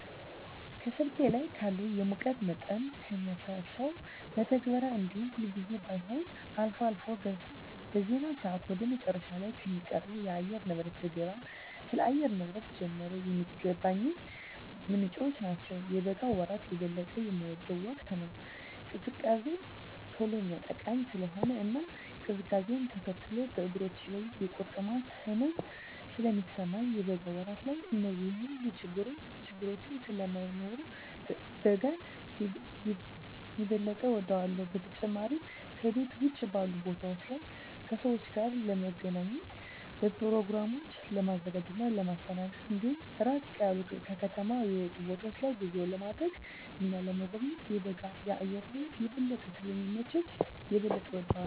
ከስልኬ ላይ ካለው የሙቀት መጠንን ከሚያሳሰው መተግበሪያ እንዲሁም ሁልጊዜም ባይሆን አልፎ አልፎ በዜና ሰአት ወደ መጨረሻ ላይ ከሚቀርበው የአየርንብረት ዘገባ ስለ አየር ንብረት ጀመረ የሚገኝባቸው ምንጮች ናቸው። የበጋ ወራት የበለጠ የምወደው ወቅት ነው። ቅዝቃዜ ቶሎ የሚያጠቃኝ ስለሆነ እና ቅዝቃዜውነ ተከትሎ በእግሮቼ ላይ የቁርጥማት ህመም ስለሚሰማኝ የበጋ ወራት ላይ እነዚህ ሁሉ ችግረኞች ስለማይኖሩ በጋን የበጠ እወዳለሁ። በተጨማሪም ከቤት ውጭ ባሉ ቦታወች ላይ ከሰወች ጋር ለመገናኘት፣ በኘሮግራሞችን ለማዘጋጀት እና ለማስተናገድ እንዲሁም ራቅ ያሉ ከከተማ የወጡ ቦታወች ላይ ጉዞ ለማድረግ እና ለመጎብኘት የበጋ የአየር ንብረት የበለጠ ስለሚመች የበለጠ እወደዋለሁ።